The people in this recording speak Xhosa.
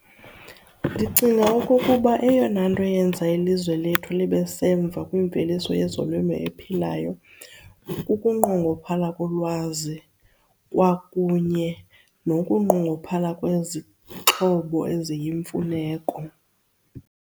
Ndicinga okokuba eyona nto eyenza ilizwe lethu libe semva kwimveliso yezolimo ephilayo kukunqongophala kolwazi kwakunye nokunqongophala kwezixhobo eziyimfuneko.